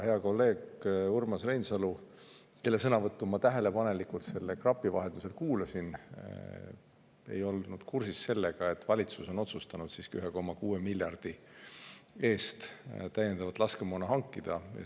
Hea kolleeg Urmas Reinsalu, kelle sõnavõttu ma tähelepanelikult krapi vahendusel kuulasin, ei olnud kursis sellega, et valitsus on otsustanud siiski 1,6 miljardi euro eest täiendavat laskemoona hankida.